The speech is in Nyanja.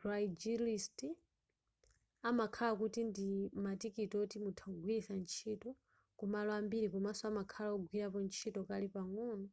craigslist amakhala kuti ndi matikiti oti mutha kugwiritsa ntchito kumalo ambiri komaso amakhala agwirapo ntchito kale pang'ono